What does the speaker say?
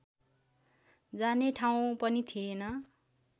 जाने ठाउँ पनि थिएन